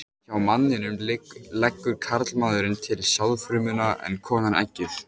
Hjá manninum leggur karlmaðurinn til sáðfrumuna en konan eggið.